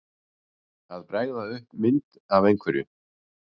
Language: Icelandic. Að bregða upp mynd af einhverju